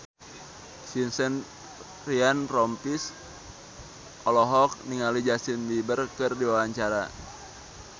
Vincent Ryan Rompies olohok ningali Justin Beiber keur diwawancara